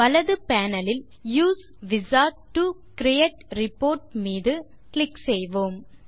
வலது panelலில் use wizard to create report மீது கிளிக் செய்வோம்